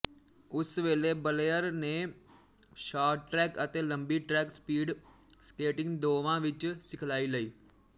ਉਸ ਵੇਲੇ ਬਲੇਅਰ ਨੇ ਸ਼ਾਰਟਟ੍ਰੈਕ ਅਤੇ ਲੰਬੀ ਟ੍ਰੈਕ ਸਪੀਡ ਸਕੇਟਿੰਗ ਦੋਵਾਂ ਵਿੱਚ ਸਿਖਲਾਈ ਲਈ